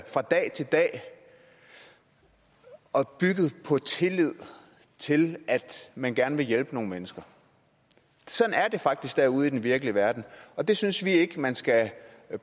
fra dag til dag og bygget på tillid til at man gerne vil hjælpe nogle mennesker sådan er det faktisk derude i den virkelige verden og det synes vi ikke man skal